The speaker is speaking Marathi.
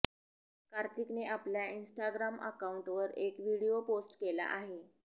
कार्तिकने आपल्या इन्स्टाग्राम अकाऊंटवर एक व्हिडीओ पोस्ट केला आहे